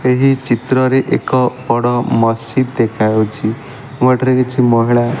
ଏହି ଚିତ୍ରରେ ଏକ ବଡ ମସଜିଦ ଦେଖା ହେଉଚି ଓ ଏଠାରେ କିଛି ମହିଳା --